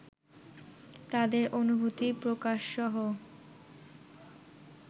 তাদের অনুভূতি প্রকাশসহ